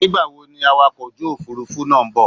Nígbàwo ni awakọ̀ ojú òfurufú náà ń bò?